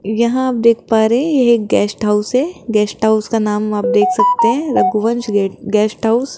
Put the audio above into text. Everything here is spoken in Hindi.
यहां आप देख पा रहे है यह एक गेस्ट हाउस है गेस्ट हाउस का नाम आप देख सकते है रघुवंश गेस्ट हाउस --